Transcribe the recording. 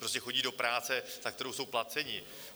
Prostě chodí do práce, za kterou jsou placeni.